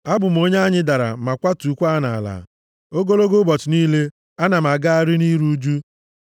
Abụ m onye a nyidara ma kwatukwaa nʼala ogologo ụbọchị niile, ana m agagharị nʼiru ụjụ.